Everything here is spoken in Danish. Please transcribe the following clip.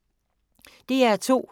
DR2